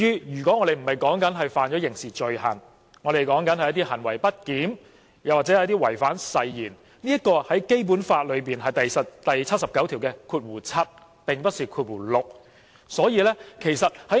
如果我們說的不是違犯刑事罪行，而是行為不檢點或違反誓言，這是《基本法》第七十九條第七項的規定，而不是第六項。